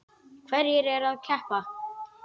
Hverjir eru að keppa?